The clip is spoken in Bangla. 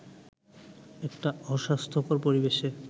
একটা অস্বাস্থ্যকর পরিবেশে